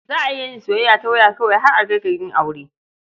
Za a iya yin soyayya ta waya kawai har a kai ga yin aure.